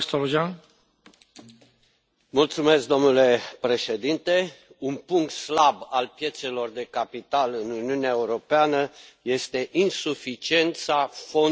Domnule președinte, un punct slab al piețelor de capital în Uniunea Europeană este insuficiența fondurilor cu capital de risc.